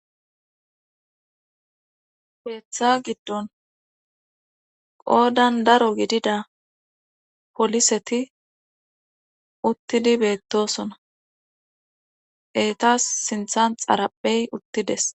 keeththa giddon qoodan daro gidida poliseti uttidi beettosona eetas sinthan xaraphey uttides.